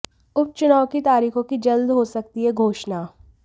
उपचुनाव की तारीखों की जल्द हो सकती है घोषणा